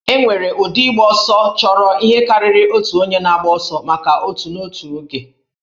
E nwere ụdị ịgba ọsọ chọrọ ihe karịrị otu onye na-agba ọsọ maka otù n'otu oge